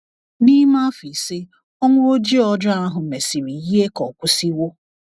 N’ime afọ ise Ọnwụ Ojii ọjọọ ahụ mesịrị yie ka ọ kwụsịwo.